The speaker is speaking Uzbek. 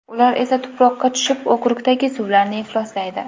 Ular esa tuproqqa tushib okrukdagi suvlarni ifloslaydi.